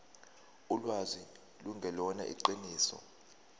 ulwazi lungelona iqiniso